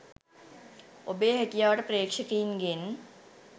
ඔබේ හැකියාවට ප්‍රේක්ෂකයින්ගෙන්